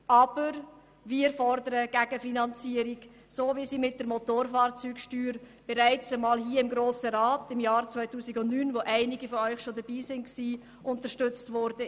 Aber wir fordern eine Gegenfinanzierung, so wie sie mit der Motorfahrzeugsteuer bereits einmal im Jahr 2009 – als einige von Ihnen bereits hier waren – unterstützt wurde.